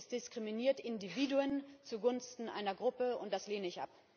Sie diskriminieren Individuen zugunsten einer Gruppe, und das lehne ich